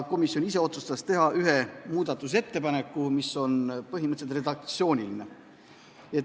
Komisjon ise otsustas teha ühe muudatusettepaneku, mis on põhimõtteliselt redaktsiooniline.